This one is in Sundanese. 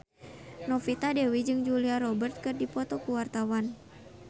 Novita Dewi jeung Julia Robert keur dipoto ku wartawan